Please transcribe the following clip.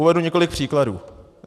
Uvedu několik příkladů.